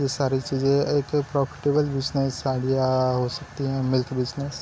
ये सारी चीज़ें एक प्रॉफिटेबल बिज़नेस आईडिया हो सकती हैं मिल्क बिज़नेस --